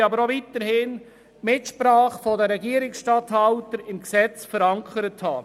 Wir möchten aber auch weiterhin die Mitsprache der Regierungsstatthalter im Gesetz verankert haben.